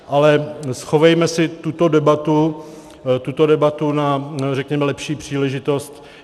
Ale schovejme si tuto debatu na, řekněme, lepší příležitost.